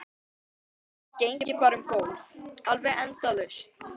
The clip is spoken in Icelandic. Nú geng ég bara um gólf, alveg endalaust.